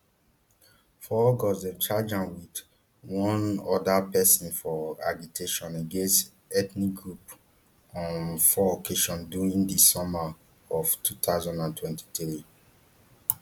for august dem charge am wit one oda pesin for agitation against ethnic group on four occasions during di summer of two thousand and twenty-three